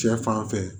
Cɛ fanfɛ